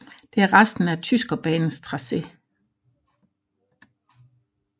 Det er resten af Tyskerbanens tracé